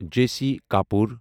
J C Kapoor